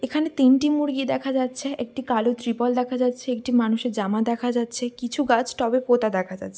এখানে তিনটি মুরগি দেখা যাচ্ছে একটি কালো ত্রিপল দেখা যাচ্ছে একটি মানুষ এর জামা দেখা যাচ্ছে কিছু গাছ টবে পোঁতা দেখা যাচ্ছ--